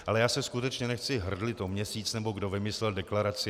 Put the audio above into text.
Ale já se skutečně nechci hrdlit o měsíc, nebo kdo vymyslel deklaraci.